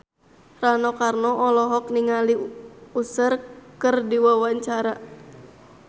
Rano Karno olohok ningali Usher keur diwawancara